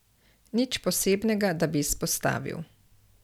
Nič posebnega, da bi izpostavil.